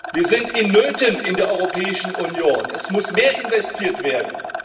Wir sind in Nöten in der Europäischen Union, es muss mehr investiert werden.